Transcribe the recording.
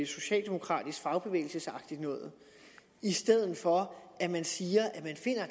socialdemokratisk fagbevægelsesagtigt noget i stedet for at man siger